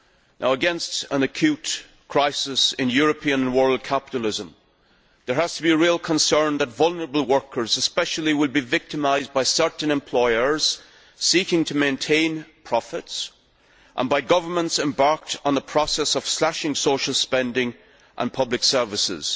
Now, set against an acute crisis in European and world capitalism, there has to be a real concern that vulnerable workers especially will be victimised by certain employers seeking to maintain profits and by governments embarked on the process of slashing social spending and public services.